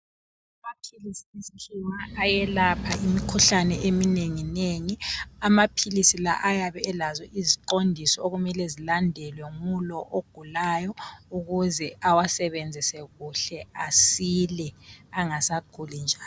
amaphilisi esikhiwa ayelapha imikhuhlane eminenginengi amaphilisi la ayabe eazo iziqondiso okumele zilandelwe ngulo ogulayo ukuze awasebenzise kuhle asile angasaguli njalo